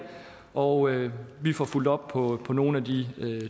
og vi får fulgt op på på nogle af de